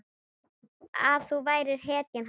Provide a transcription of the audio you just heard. Að þú værir hetjan hans.